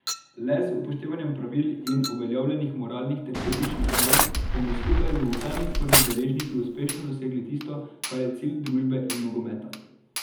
Le z upoštevanjem pravil in uveljavljenih moralnih ter etičnih norm bomo skupaj z vsemi svojimi deležniki uspešno dosegali tisto, kar je cilj družbe in nogometa.